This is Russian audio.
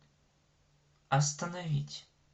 остановить